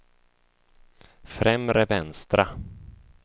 främre vänstra